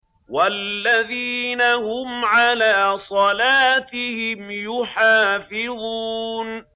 وَالَّذِينَ هُمْ عَلَىٰ صَلَاتِهِمْ يُحَافِظُونَ